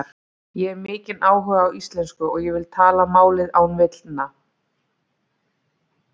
Ég hef mikinn áhuga á íslensku og ég vil tala málið án villna.